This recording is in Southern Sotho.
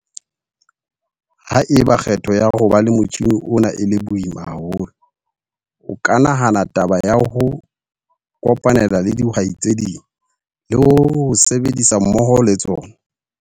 Ha eba kgetho ya ho ba le motjhine ona e le boima haholo, o ka nahana taba ya ho o kopanela le dihwai tse ding, le ho o sebedisa mmoho le tsona.